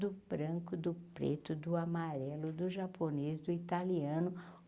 do branco, do preto, do amarelo, do japonês, do italiano.